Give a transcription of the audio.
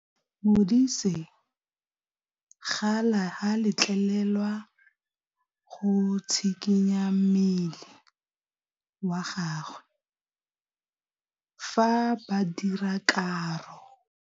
Modise ga a letlelelwa go tshikinya mmele wa gagwe fa ba dira karô.